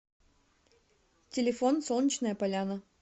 телефон солнечная поляна